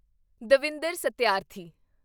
Davinder Satyarthi